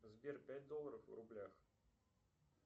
сбер пять долларов в рублях